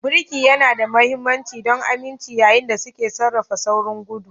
Birki yana da mahimmanci don aminci yayin da suke sarrafa saurin gudu.